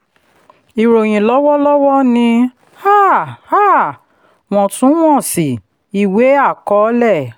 ìròyìn lọ́wọ́lọ́wọ́ ni um um wọ̀ntúnwọ̀nsì ìwé àkọọ́lẹ̀.